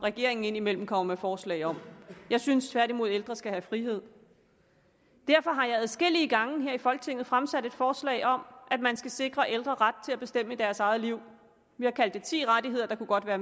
regeringen indimellem kommer med forslag om jeg synes tværtimod ældre skal have frihed derfor har jeg adskillige gange her i folketinget fremsat et forslag om at man skal sikre ældre ret til at bestemme i deres eget liv vi har kaldt det ti rettigheder der kunne godt være